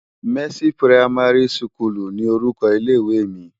Mèsi pirámàri sikúlú ni órúkò ilé iwé mi